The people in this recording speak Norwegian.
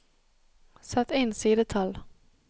Sett inn sidetall